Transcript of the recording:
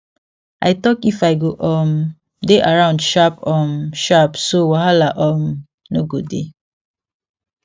i talk if i go um dey around sharp um sharp so wahala um no go dey